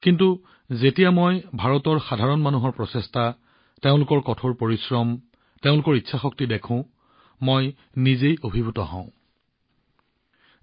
কিন্তু যেতিয়া মই ভাৰতৰ সাধাৰণ মানুহৰ প্ৰচেষ্টা তেওঁলোকৰ কঠোৰ পৰিশ্ৰম তেওঁলোকৰ ইচ্ছাশক্তি দেখো মই নিজেই অভিভূত হৈ পৰো